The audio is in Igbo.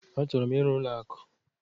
Achọrọ m ịrụ n'ụlọakụ.